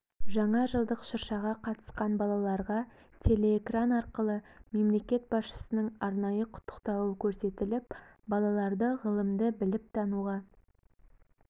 жаңа жылдық шыршаға қатысқан балаларға телеэкран арқылы мемлекет басшысының арнайы құттықтауы көрсетіліп балаларды ғылымды біліп тануға